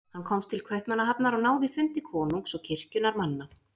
Hann komst til Kaupmannahafnar og náði fundi konungs og kirkjunnar manna.